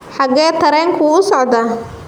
Xagee tareenku u socdaa?